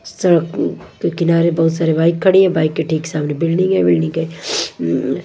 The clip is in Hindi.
सड़क के किनारे बहोत सारी बाइक खड़ी है बाइक के ठीक सामने बिल्डिंग है बिल्डिंग के अम--